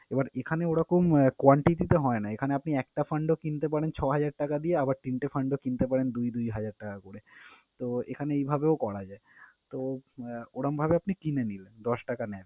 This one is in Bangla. এবার এখানে ওরকম quantity তে হয়না, এখানে আপনি একটা fund ও কিনতে পারেন ছয় হাজার টাকা দিয়ে আবার তিনটা fund ও কিনতে পারেন দুই দুই হাজার টাকা করে। তো, এখানে এইভাবেও করা যায়। তো, আহ ওরমভাবে আপনি কিনে নিলেন, দশ টাকা NAV